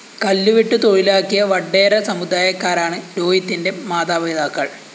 കല്ലുവെട്ട് തൊഴിലാക്കിയ വഡ്ഡേര സമുദായക്കാരാണ് രോഹിതിന്റെ മാതാപിതാക്കള്‍